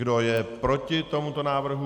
Kdo je proti tomuto návrhu?